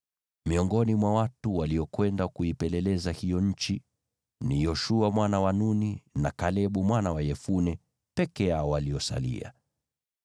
Miongoni mwa watu waliokwenda kuipeleleza hiyo nchi, ni Yoshua mwana wa Nuni, na Kalebu mwana wa Yefune peke yao waliosalia.